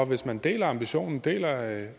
hvis man deler ambitionen deler at